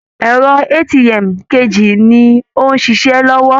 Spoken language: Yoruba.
Ẹ̀rọ ATM kejì ni ó ń ṣiṣẹ́ lọ́wọ́